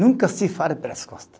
Nunca se fala pelas costa.